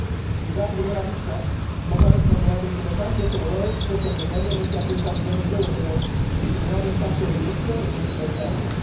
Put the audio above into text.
Quizás, a primera vista, no parezca un debate interesante pero lo es, puesto que diariamente afecta a millones de europeos y tendrá un impacto directo en nuestro día a día.